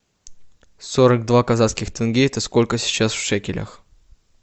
сорок два казахских тенге это сколько сейчас в шекелях